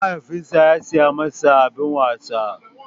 Mahaifinsa ya saya masa abin wasa.